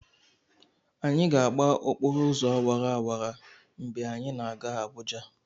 Anyị ga-agba okporo ụzọ awara awara mgbe anyị na-aga Abụja.